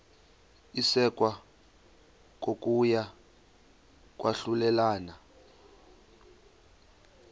isekwa kokuya kwahlulelana